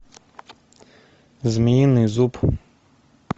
змеиный зуб